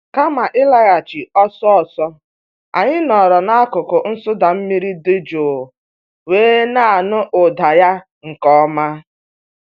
Kama ịlaghachi ọsọ ọsọ, anyị nọọrọ n'akụkụ nsụda mmiri dị jụụ wee na-anụ ụda ya nke ọma.